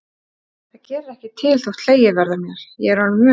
Það gerir ekkert til þótt hlegið verði að mér, ég er orðin vön því.